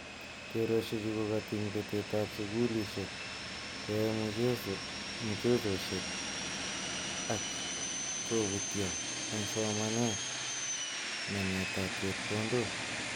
Keroshek chu ko katiny petet ap sukulishek kwae mchezoshet ak koputyia egsomanetak namet ab chepkondog.